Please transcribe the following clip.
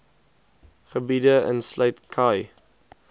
gebiede insluit khai